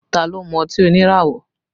Ta ló mú ọtí oníràwọ̀?